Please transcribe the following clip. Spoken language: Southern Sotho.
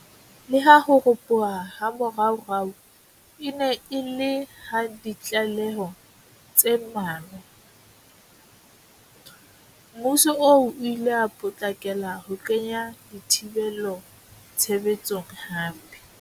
Leha ho ropoha ha moraorao e ne e le ha ditlaleho tse mmalwa, mmuso oo o ile wa potlakela ho kenya dithibelo tshebe tsong hape.